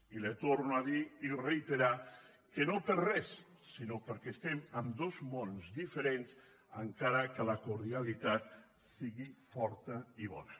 i li torno a dir i reiterar que no per res sinó perquè estem en dos mons diferents encara que la cordialitat sigui forta i bona